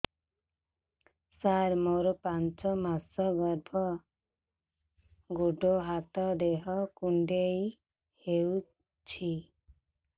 ସାର ମୋର ପାଞ୍ଚ ମାସ ଗର୍ଭ ଗୋଡ ହାତ ଦେହ କୁଣ୍ଡେଇ ହେଉଛି